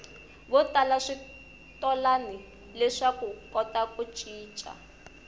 votala switolani leswakuva kota ku cica